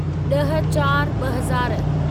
ॾह चार ॿ हज़ार